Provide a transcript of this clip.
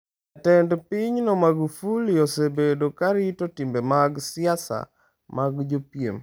Jatend pinyno Magufuli osebedo ka rito timbe mag siasa mag jopiem.